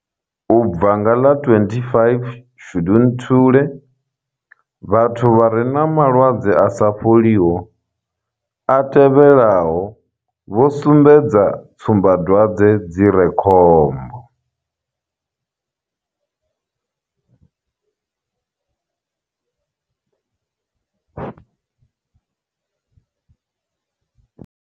U bva nga ḽa 25 Shundunthule, vhathu vha re na malwadze a sa fholiho a tevhelaho vho sumbedza tsumbadwadze dzi re khombo.